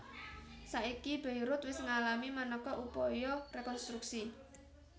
Saiki Beirut wis ngalami manéka upaya rekonstruksi